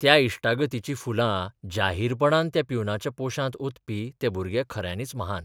त्या इश्टागतीचीं फुलां जाहीरपणान त्या प्युनाच्या पोशांत ओतपी हे भुरगे खऱ्यांनीच महान.